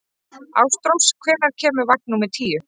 Ástrós, hvenær kemur vagn númer tíu?